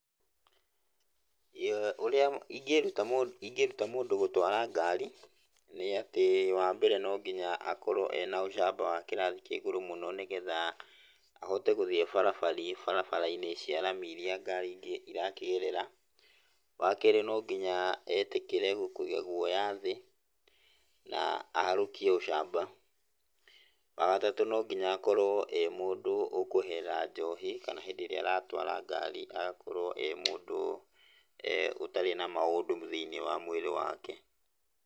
Ũrĩa ingĩruta mũ, ingĩruta mũndũ gũtwara ngari, nĩ atĩ wambere nonginya akorwo ena ũcamba wa kĩrathi kĩa igũrũ mũno, nĩgetha ahote gũthiĩ barabari, barabara-inĩ cia rami iria ngari ingĩ irakĩgerera. Wa kerĩ, nonginya etĩkĩre kũiga guoya thĩ na aharũkie ũcamba. Wa gatatũ, nonginya akorwo e mũndũ ũkweherera njohi, kana hĩndĩ ĩrĩa aratwara ngari agakorwo e mũndũ ũtarĩ na maũndũ thĩiniĩ wa mwĩrĩ wake.